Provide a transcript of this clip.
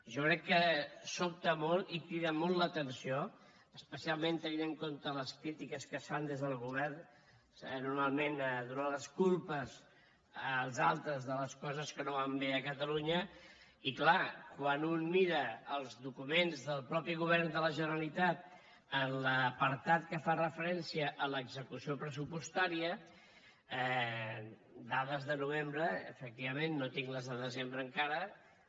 jo crec que sobta molt i crida molt l’atenció especialment tenint en compte les crítiques que es fan des del govern normalment donant les culpes als altres de les coses que no van bé a catalunya i clar quan un mira els documents del mateix govern de la generalitat en l’apartat que fa referència a l’execució pressupostària dades de novembre efectivament no tinc les de desembre encara